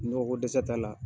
Ni nɔgɔ ko dɛsɛ t'a la